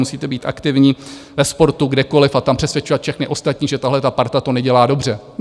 Musíte být aktivní ve sportu, kdekoliv, a tam přesvědčovat všechny ostatní, že tahle ta parta to nedělá dobře.